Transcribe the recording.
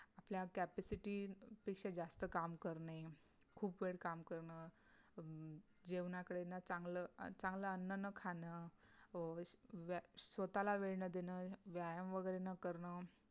आपल्या capacity पेक्षा जास्त काम करणे खूप वेळ काम करण अं जेवणाकडे न चांगलं चांगलं अन्न न खाण अं स्वतःला वेळ न देणं, व्यायाम वगैरे न करण